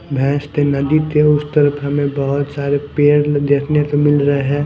नदी के उसे तरफ हमें बहोत सारे पेड़ देखने से मिल रहें--